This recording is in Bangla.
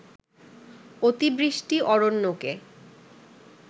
অতিবৃষ্টি অরণ্যকে